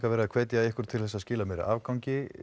verið að hvetja ykkur til að skila meiri afgangi